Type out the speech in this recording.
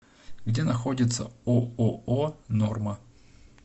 где находится ооо норма